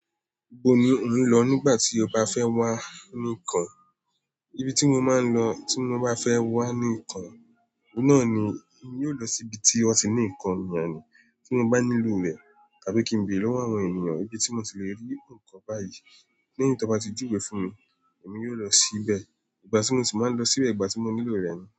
Ibo ni ò ń lọ nígbà tí o bá fẹ́ wà níkan? Ibi tí mo máa ń lọ tí mo bá fẹ́ wà ǹkan, náà ni mi yóò lọ sí ibi tí ó ti ní ǹkan mi ni, tí mo bá nílò rẹ̀, tàbí kí n béèrè lọ́wọ́ àwọn ènìyàn ibi tí mo ti lè rí ǹkan báyìí, lẹ́yìn tí wọ́n bá ti júwe fún mi, èmi yóò lọ síbẹ̀. Ìgbà tí mo ti máa ń lọ síbẹ̀, ìgbà tí mo nílò rẹ̀ ni.